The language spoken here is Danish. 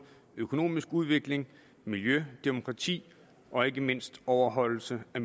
økonomisk udvikling miljø demokrati og ikke mindst overholdelse af